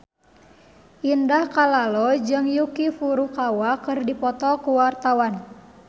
Indah Kalalo jeung Yuki Furukawa keur dipoto ku wartawan